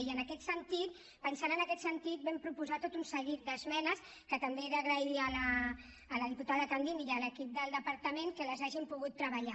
i en aquest sentit pensant en aquest sentit vam proposar tot un seguit d’esmenes que també he d’agrair a la diputada candini i a l’equip del departament que les hagin pogut treballar